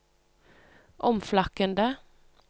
omflakkende